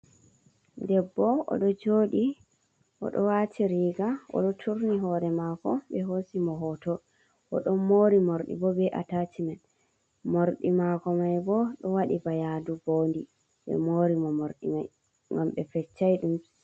Ɗebbo oɗo joɗi oɗo wati riiga, oɗo turni hore mako ɓe hosi mo hoto, o ɗon mori mordi bo ɓe ataciman, morɗi mako mai bo ɗo waɗi ba yaadu mbodi, ɓe mori mo morɗi mai ngam be feccai ɗum.